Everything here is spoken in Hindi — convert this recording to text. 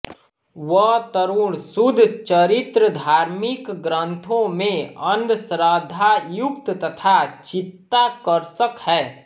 वह तरुण शुद्धचरित्र धार्मिक ग्रन्थों में अन्धश्रद्धायुक्त तथा चित्ताकर्षक है